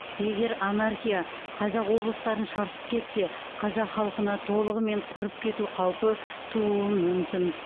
егер анархия қазақ облыстарын шарпып кетсе қазақ халқына толығымен құрып кету қаупі тууы мүмкін